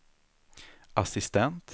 assistent